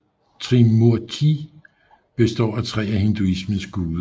Trimurti består af tre af hinduismens guder